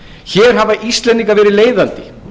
hér bera íslendingar verið leiðandi